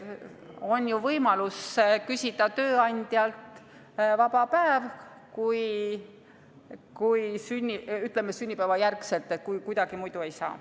On ju võimalus küsida tööandjalt vaba päev, kui, ütleme, pärast sünnipäeva kuidagi muidu ei saa.